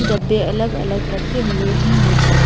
डब्बे अलग-अलग रखे हुए हैं नीचे।